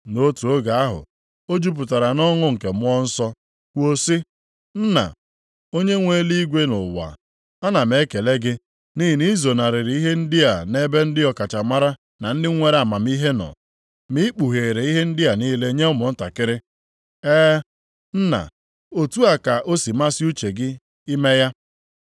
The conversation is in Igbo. Nʼotu oge ahụ, o jupụtara nʼọṅụ nke Mmụọ Nsọ kwuo sị, “Nna, Onyenwe eluigwe na ụwa, ana m ekele gị nʼihi na ị zonarịrị ihe ndị a nʼebe ndị ọkachamara na ndị nwere amamihe nọ, ma ị kpughere ihe ndị a niile nye ụmụntakịrị. E, Nna, otu a ka o si masị uche gị ime ya.